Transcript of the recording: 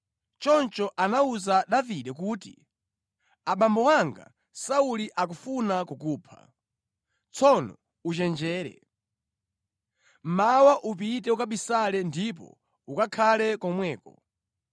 Choncho anawuza Davide kuti, “Abambo anga Sauli akufuna kukupha. Tsono uchenjere. Mmawa upite ukabisale ndipo ukakhale komweko.